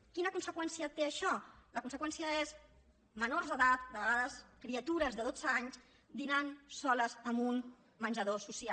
quina conseqüència té això la conseqüència és menors d’edat de vegades criatures de dotze anys dinant soles en un menjador social